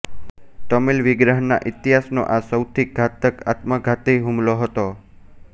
તમિલ વિગ્રહના ઇતિહાસનો આ સૌથી ઘાતક આત્મઘાતી હુમલો હતો